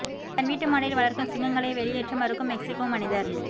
தன் வீட்டு மாடியில் வளர்க்கும் சிங்கங்களை வெளியேற்ற மறுக்கும் மெக்ஸிகோ மனிதர்